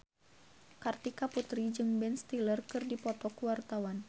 Kartika Putri jeung Ben Stiller keur dipoto ku wartawan